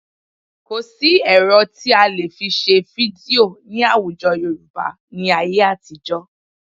Kò sí ẹ̀rọ tí a lè fi ṣe fídíò ní àwùjọ Yorùbá ní ayé àtijọ́